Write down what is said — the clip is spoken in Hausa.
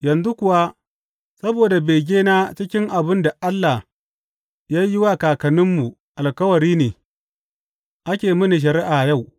Yanzu kuwa saboda begena cikin abin da Allah ya yi wa kakanninmu alkawari ne, ake mini shari’a yau.